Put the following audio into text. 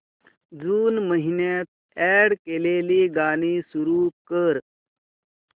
जून महिन्यात अॅड केलेली गाणी सुरू कर